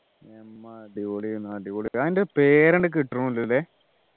Emma അടിപൊളിയാണ് അടിപൊളി അതിൻ്റെ പേര് അങ്ങോട്ട് കിട്ടുന്നില്ല ല്ലേ